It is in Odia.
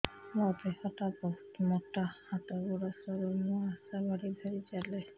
ମୋର ଦେହ ଟା ବହୁତ ମୋଟା ହାତ ଗୋଡ଼ ସରୁ ମୁ ଆଶା ବାଡ଼ି ଧରି ଚାଲେ